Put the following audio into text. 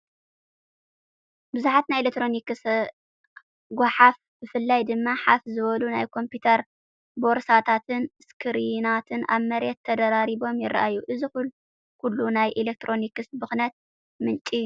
ብዙሕ ናይ ኤሌክትሮኒክስ ጎሓፍ። ብፍላይ ድማ ፋሕ ዝበሉ ናይ ኮምፒተር ቦርሳታትን ስክሪናትን ኣብ መሬት ተደራሪቦም ይረኣዩ። እዚ ኩሉ ናይ ኤሌክትሮኒክስ ብኽነት ምንጪ ብስጭት እዩ።